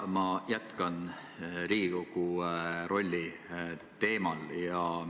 Ma jätkan Riigikogu rolli teemal.